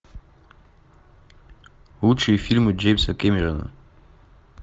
лучшие фильмы джеймса кэмерона